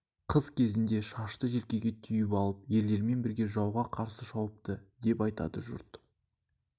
қыз кезінде шашты желкеге түйіп алып ерлермен бірге жауға қарсы шауыпты деп айтады жұрт